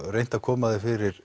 reynt að koma þér fyrir